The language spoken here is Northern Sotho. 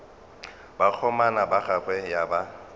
bakgomana ba gagwe ya ba